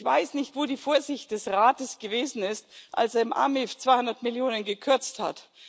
auf. Ich weiß nicht, wo die Vorsicht des Rates gewesen ist, als er im AMIF 200 Millionen EUR gekürzt